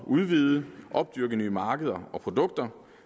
udvide at opdyrke nye markeder og produkter